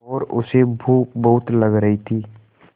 और उसे भूख भी बहुत लग रही थी